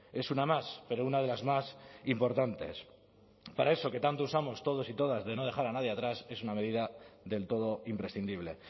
es una más pero una de las más importantes para eso que tanto usamos todos y todas de no dejar a nadie atrás es una medida del todo imprescindible